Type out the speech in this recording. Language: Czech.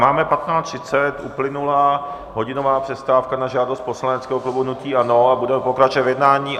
Máme 15.30, uplynula hodinová přestávka na žádost poslaneckého klubu hnutí ANO a budeme pokračovat v jednání.